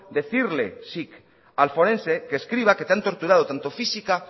decirle sic al forense que escriba que te han torturado tanto física